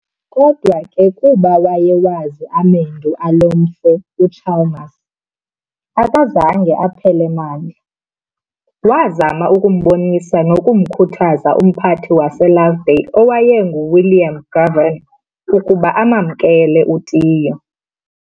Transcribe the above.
kodwa ke kuba wayewazi amendu alo mfo uChalmers, akazange aphele mandla, wazama ukumbonisa nokumkhuthaza umphathi waseLovedale owayengu-William Goven ukuba amamkele u-Tiyo.